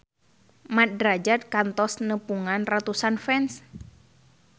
Mat Drajat kantos nepungan ratusan fans